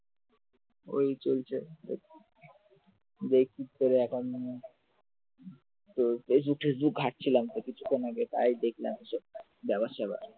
ওই চলছে দেখি কি করে তো ফেসবুক টসবুক ঘাঁটছিলাম কিছুক্ষণ আগে তাই দেখলাম ব্যাপার স্যাপার